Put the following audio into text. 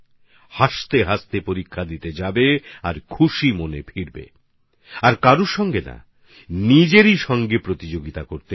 হাসতে হাসতে এক্সাম দিতে যাবেন হাসিমুখে ফিরবেন আর কারও সঙ্গে নয় নিজের সঙ্গেই প্রতিযোগিতা করতে হবে